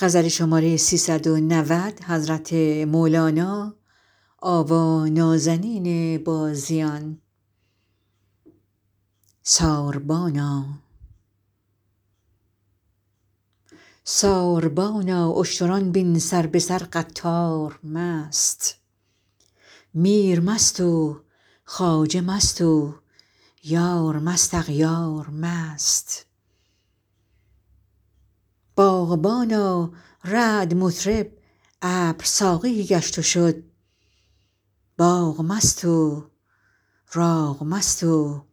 ساربانا اشتران بین سر به سر قطار مست میر مست و خواجه مست و یار مست اغیار مست باغبانا رعد مطرب ابر ساقی گشت و شد باغ مست و راغ مست و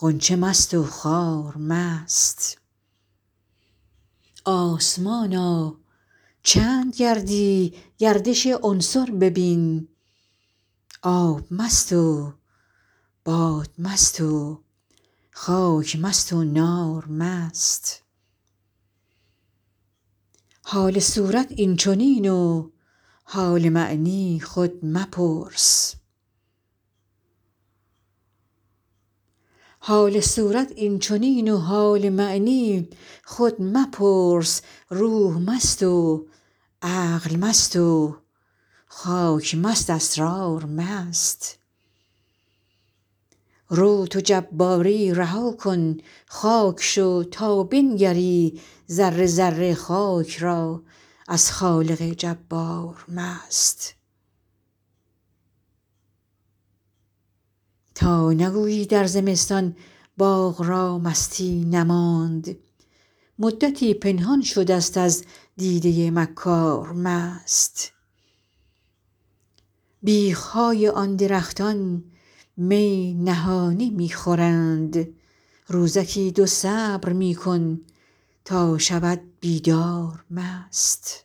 غنچه مست و خار مست آسمانا چند گردی گردش عنصر ببین آب مست و باد مست و خاک مست و نار مست حال صورت این چنین و حال معنی خود مپرس روح مست و عقل مست و خاک مست اسرار مست رو تو جباری رها کن خاک شو تا بنگری ذره ذره خاک را از خالق جبار مست تا نگویی در زمستان باغ را مستی نماند مدتی پنهان شدست از دیده مکار مست بیخ های آن درختان می نهانی می خورند روزکی دو صبر می کن تا شود بیدار مست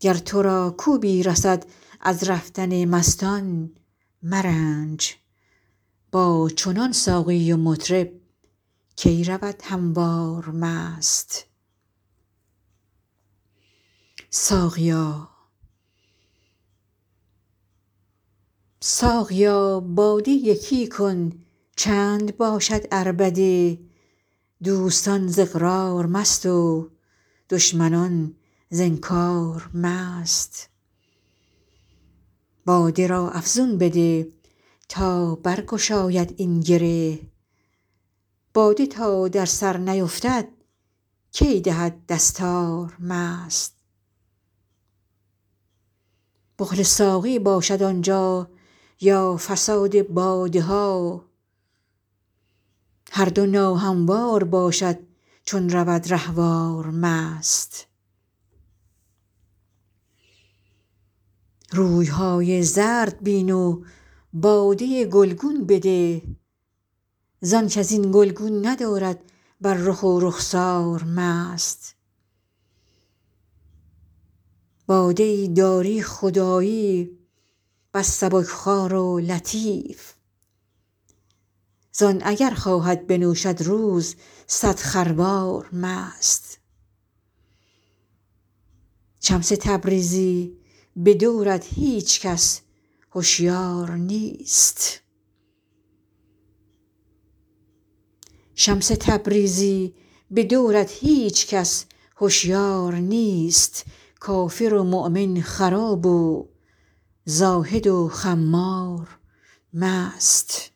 گر تو را کوبی رسد از رفتن مستان مرنج با چنان ساقی و مطرب کی رود هموار مست ساقیا باده یکی کن چند باشد عربده دوستان ز اقرار مست و دشمنان ز انکار مست باد را افزون بده تا برگشاید این گره باده تا در سر نیفتد کی دهد دستار مست بخل ساقی باشد آن جا یا فساد باده ها هر دو ناهموار باشد چون رود رهوار مست روی های زرد بین و باده گلگون بده زانک از این گلگون ندارد بر رخ و رخسار مست باده ای داری خدایی بس سبک خوار و لطیف زان اگر خواهد بنوشد روز صد خروار مست شمس تبریزی به دورت هیچ کس هشیار نیست کافر و مؤمن خراب و زاهد و خمار مست